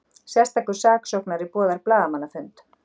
Sérstakur saksóknari boðar blaðamannafund